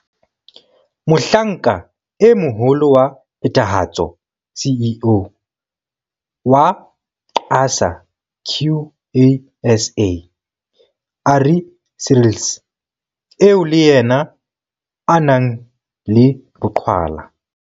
Mo hlanka e Moholo wa Phethahatso, CEO, wa QASA, Ari Seirlis eo le yena a nang le boqhwala.